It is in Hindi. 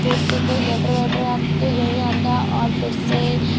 कोर्ट से कोई लैटर वेटर आत तो यही आता और फिर से --